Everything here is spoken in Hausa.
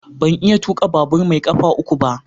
Ban iya tuka babur mai kafa uku ba.